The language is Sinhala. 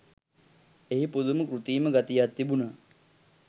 එහි පුදුම කෘතීම ගතියක් තිබුනා